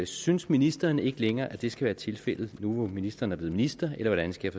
synes ministeren ikke længere at det skal være tilfældet nu hvor ministeren er blevet minister eller hvordan skal